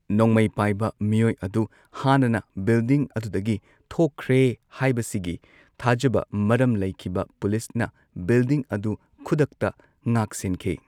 ꯅꯣꯡꯃꯩ ꯄꯥꯏꯕ ꯃꯤꯌꯣꯏ ꯑꯗꯨ ꯍꯥꯟꯅꯅ ꯕꯤꯜꯗꯤꯡ ꯑꯗꯨꯗꯒꯤ ꯊꯣꯛꯈ꯭ꯔꯦ ꯍꯥꯏꯕꯁꯤꯒꯤ ꯊꯥꯖꯕ ꯃꯔꯝ ꯂꯩꯈꯤꯕ ꯄꯨꯂꯤꯁꯅ ꯕꯤꯜꯗꯤꯡ ꯑꯗꯨ ꯈꯨꯗꯛꯇ ꯉꯥꯛ ꯁꯦꯟꯅꯈꯤ